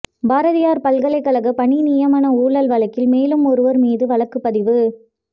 பாரதியார் பல்கலைக்கழக பணி நியமன ஊழல் வழக்கில் மேலும் ஒருவர் மீது வழக்குப் பதிவு